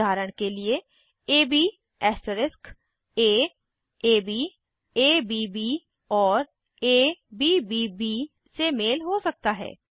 उदाहरण के लिए एबी ऐस्टरिस्क aabअब्ब और अब्ब से मेल हो सकता है